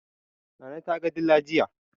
Nana ta ga dila jiya